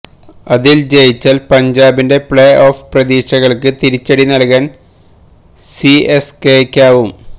അതില് ജയിച്ചാല് പഞ്ചാബിന്റെ പ്ലേ ഓഫ് പ്രതീക്ഷകള്ക്ക് തിരിച്ചടി നല്കാന് സിഎസ്കെയ്ക്കാവും